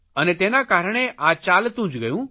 અને તેના કારણે આ ચાલતું જ ગયું